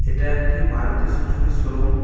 এটা একটি Maruti Suzuki showroom.